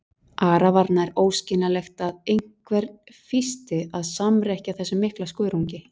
Ara var nær óskiljanlegt að einhvern fýsti að samrekkja þessum mikla skörungi.